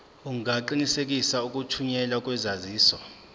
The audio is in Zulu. ungaqinisekisa ukuthunyelwa kwesaziso